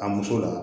A muso la